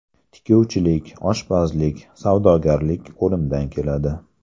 Tikuvchilik, oshpazlik, savdogarlik qo‘limdan keladi.